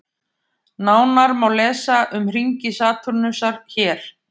Nánar má lesa um hringi Satúrnusar hér.